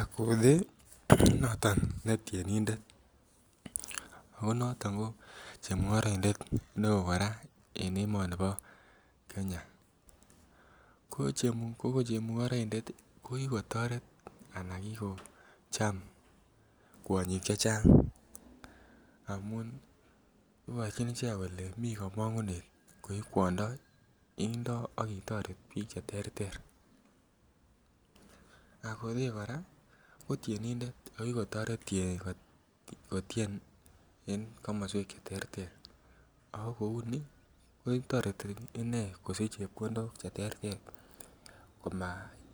Another noton ne tyenindet ako noton ko chemungoroindet be oo koraa en emoni bo Kenya, ko chemungoroindet ko kikotoret ana kikocham kwonyik chechang amun iborjin icheget kolee mii komongunet koi kwondo indo ak itoreton biik che terter, akothee koraa ko tyenindet ako kikotoret kotien en komoswek che terter ako kouni kotoreti inee kosich chepkondok che terter koma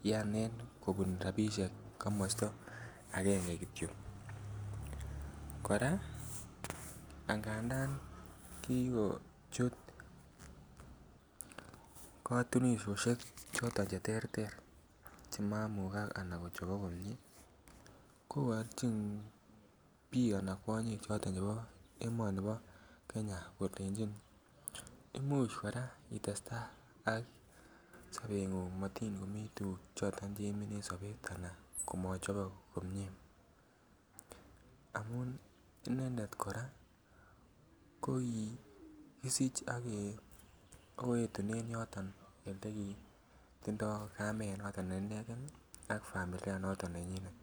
ianen kobun rabishek komosto angenge kityo. Koraa angandan kigochut kotunisioshek choton che terter che mamukak ana kochobok komie ko borjin biik ana kwonyik chebo emoni bo Kenya kolenjin imuch koraa itestai ak sobengung motin komii tuguk choton che iimin en sobet anan komochobok komie amun inendet koraa ko kikisich ago yetunen yoton ole kitindo kamet noton ne inegen am familia noton nenyinet